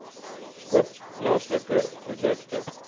koop plaaslike produkte